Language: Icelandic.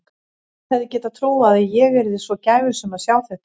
Hver hefði getað trúað að ég yrði svo gæfusöm að sjá þetta.